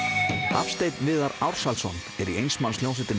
Hafsteinn Viðar Ársælsson er í eins manns hljómsveitinni